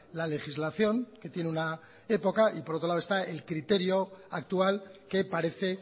la legislación que tiene una época y por otro lado está el criterio actual que parece